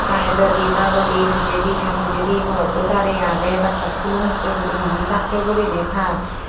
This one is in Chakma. saidodi dagodi pijedi ta pijedi morotto darey aagey dak dak sulom ussey guri muon dakkey guriney tar.